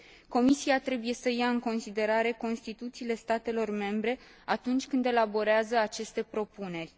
Comisia trebuie să ia în considerare constituțiile statelor membre atunci când elaborează aceste propuneri.